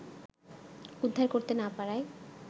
উদ্ধার করতে না পারায়